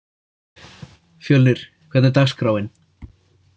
Fjölnir, hvernig er dagskráin?